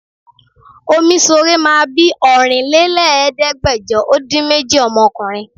Omíṣore máa bí Ọ̀rínlélẹ́ẹ̀ẹ́dẹ́gbẹ́jọ ó dín méjì ọmọkùnrin